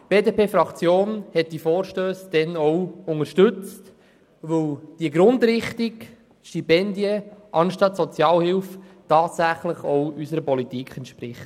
Ja, die BDP-Fraktion unterstützte diese Anträge damals, weil die Grundrichtung Stipendien anstelle von Sozialhilfe tatsächlich auch unserer Politik entspricht.